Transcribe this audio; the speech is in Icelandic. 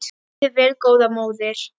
Lifðu vel góða móðir.